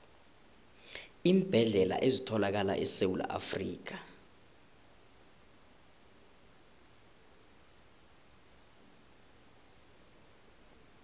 iimbedlela ezithalakala esewula afrikha